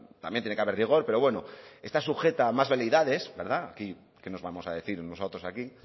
también tiene que haber rigor pero bueno está sujeta a más veleidades verdad aquí qué nos vamos a decir unos a otros aquí